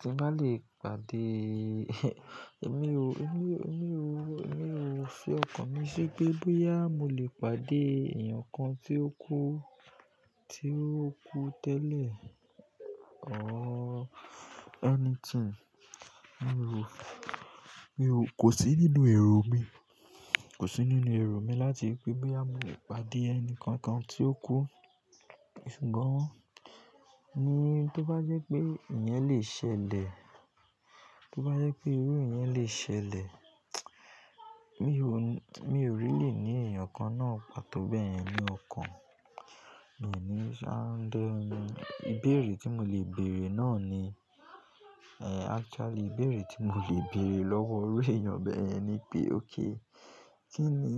Tí n bá lè pàdé, èmi ò, èmi ò, èmi ò, èmi ò ṣe ọkàn mi de pé bóyá mo lè pàdé èèyàn kan tí ó kú, tí ó kú tẹ́lẹ̀, or anything. Èmi ò, èmi ò, kò sí nínú èrò mi, kò sí nínú èrò mi láti pé bóyá mo lè pàdé ẹnì kankan tí ó kú. Ṣùgbọ́n ni tó bá jẹ́ pé ìyẹn lè ṣẹlẹ̀, tó bá jẹ́ pé ìru ìyẹn lè ṣẹlẹ̀, mi ò ní, mi ò really ní èèyàn kan náà, pàtó bẹ́yẹn ní ọkàn. Mi o ni sa derun mi, ibeẹ̀rẹ̀ tí mo lè bẹ̀erẹ̀ náà ni-- actually, ìbẹ̀rẹ̀ tí mo lè beẹ̀rẹ̀ lọ́wọ́ iru èèyàn bẹ́yẹn ni pé, okay, kí ni,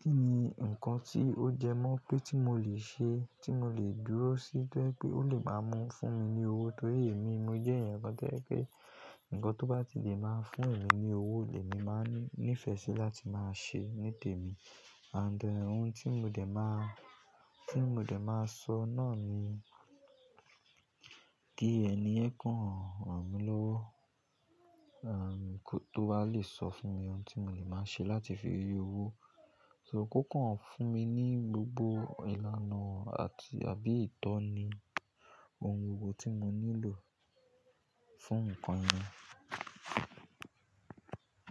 kí ni nǹkan tí ó jẹ mọ́ pé tí mo lè ṣe, tí mo lè dúró sí tó jẹ́ pé ó lè máa mú fún mi ní owó. Torí èmi mo jẹ́ èèyàn kan tó jẹ́ pé nǹkan tó bá ti lè máa fún èmi ní owó, lè mi máa ní--nìfẹ́ sí láti máa ṣe ní tèmi. And ohun tí mo dẹ̀ máa, tí mo dẹ̀ máa sọ náà ni, kí ẹniyẹ́n kan ràn mí lówó, kó tó wá lè sọ fún mi ohun tí mo lè máa ṣe láti fi rí owó. So kókàn fún mi ní gbogbo ìlànà àti àbí ìtọ́ni ohun gbogbo tí mo nílò fún nǹkan yẹn.